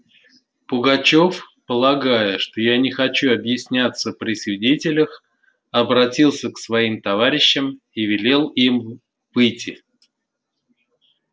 пугачёв полагая что я не хочу объясняться при свидетелях обратился к своим товарищам и велел им выйти